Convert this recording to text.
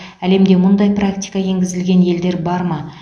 әлемде мұндай практика енгізілген елдер бар ма